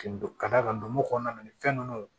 Ka d'a kan ndo kɔnɔna na ni fɛn ninnu